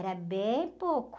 Era bem pouco.